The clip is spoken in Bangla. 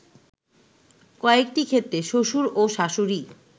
কয়েকটি ক্ষেত্রে শ্বশুর ও শাশুড়ী